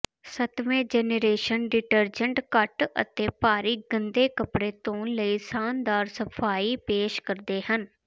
ਸੱਤਵੇਂ generation detergent ਘੱਟ ਅਤੇ ਭਾਰੀ ਗੰਦੇ ਕੱਪੜੇ ਧੋਣ ਲਈ ਸ਼ਾਨਦਾਰ ਸਫਾਈ ਪੇਸ਼ ਕਰਦੇ ਹਨ